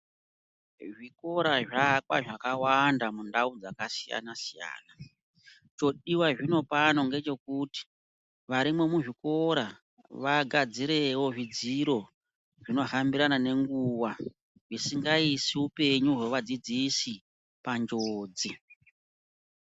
Zvikora zvaakwa zvakawanda mundau dzakasiyana-siyana. Chodiwa zvino pano ngechokuti, varimwo muzvikora vagadzirewo zvidziro zvinohambirana nenguwa zvisingaisi upenyu hwevadzidzisi panjodzi.